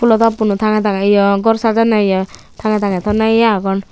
pulo top uno tanga tangey ye gor sajanney ye tangey tangey tonney iye agon.